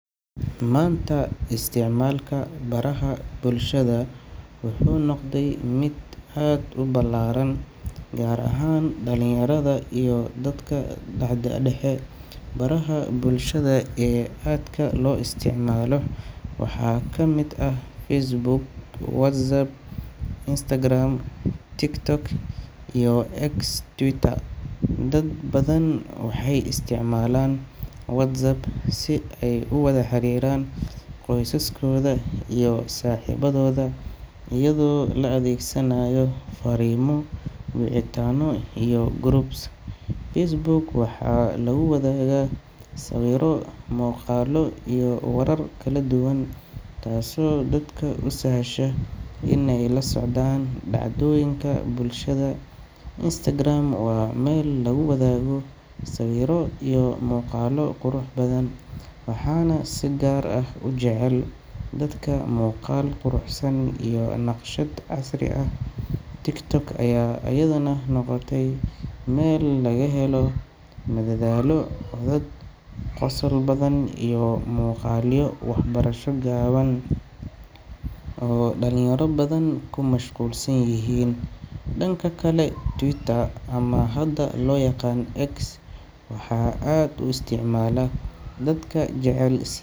Maanta isticmaalka baraha bulshada wuxuu noqday mid aad u ballaaran gaar ahaan dhalinyarada iyo dadka da’da dhexe. Baraha bulshada ee aadka loo isticmaalo waxaa kamid ah Facebook, WhatsApp, Instagram, TikTok, iyo X (Twitter). Dad badan waxay isticmaalaan WhatsApp si ay u wada xiriiraan qoysaskooda iyo saaxiibadooda iyadoo la adeegsanayo fariimo, wicitaano iyo groups. Facebook waxaa lagu wadaagaa sawirro, muuqaallo iyo warar kala duwan, taasoo dadka u sahasha inay la socdaan dhacdooyinka bulshada. Instagram waa meel lagu wadaago sawirro iyo muuqaallo qurux badan, waxaana si gaar ah u jecel dadka jecel muuqaal quruxsan iyo naqshad casri ah. TikTok ayaa iyaduna noqotay meel laga helo madadaalo, codad qosol badan, iyo muuqaalyo waxbarasho gaaban oo dhalinyaro badan ku mashquulsan yihiin. Dhanka kale, Twitter ama hadda loo yaqaan X waxaa aad u isticmaala dadka jecel si.